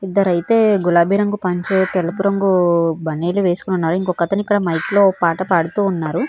ఇద్దరు అయితే గులాబీ రంగు పంచె తెలుపు రంగు బనినియన్ వేసుకొని ఉన్నారు ఇంకొకతను ఇక్కడ మైక్ లో పాట పాడుతూ ఉన్నారు.